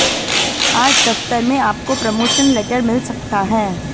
आज दफ्तर में आपको प्रमोशन लेटर मिल सकता है